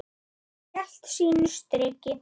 Hann hélt sínu striki.